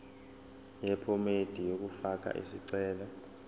yephomedi yokufaka isicelo